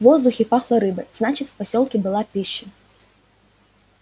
в воздухе пахло рыбой значит в посёлке была пища